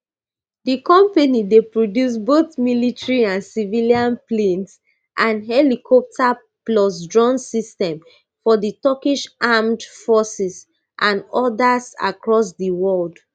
di company dey produce both military and civilian planes and helicopters plus drone systems for di turkish armed forces and odas across di world